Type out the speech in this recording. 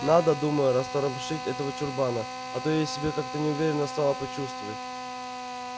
надо думаю растормошить этого чурбана а то я себя как-то неуверенно стала почувствовать